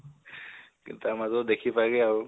তাৰ মাজত দেখি পাই গে আৰু